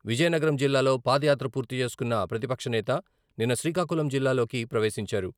విజయనగరం జిల్లాలో పాదయాత్ర పూర్తిచేసుకున్న ప్రతిపక్షనేత నిన్న శ్రీకాకుళం జిల్లాలోకి ప్రవేశించారు.